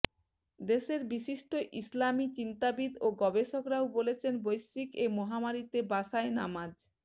দেশের বিশিষ্ট ইসলামি চিন্তাবিদ ও গবেষকরাও বলছেন বৈশ্বিক এ মহামারীতে বাসায় নামাজ